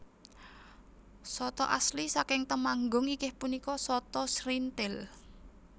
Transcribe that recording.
Sata asli saking Temanggung inggih punika sata srinthil